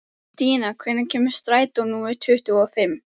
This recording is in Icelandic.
Stína, hvenær kemur strætó númer tuttugu og fimm?